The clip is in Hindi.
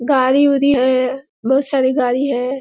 गाड़ी उडी है बहुत सारे गाड़ी है |